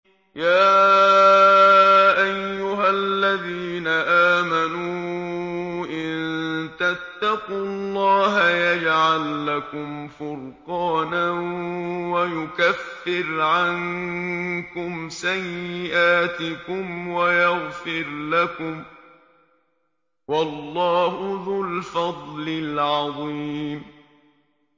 يَا أَيُّهَا الَّذِينَ آمَنُوا إِن تَتَّقُوا اللَّهَ يَجْعَل لَّكُمْ فُرْقَانًا وَيُكَفِّرْ عَنكُمْ سَيِّئَاتِكُمْ وَيَغْفِرْ لَكُمْ ۗ وَاللَّهُ ذُو الْفَضْلِ الْعَظِيمِ